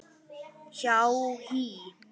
hjá HÍ.